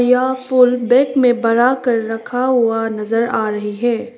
यह फूल में बढ़ाकर रखा हुआ नजर आ रही है।